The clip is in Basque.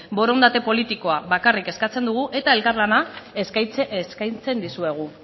borondate politikoa bakarrik eskatzen dugu eta elkarlana eskaintzen dizuegu